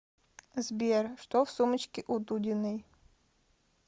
сбер что в сумочке у дудиной